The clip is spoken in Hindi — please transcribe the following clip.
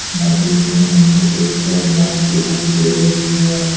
नदी में हमें एक नांव दिखाई दे रही है।